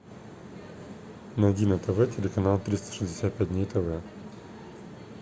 найди на тв телеканал триста шестьдесят пять дней тв